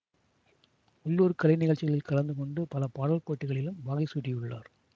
உள்ளூர் கலைநிகழ்ச்சிகளில் கலந்து கொண்டு பல பாடல் போட்டிகளிலும் வாகை சூடியுள்ளார்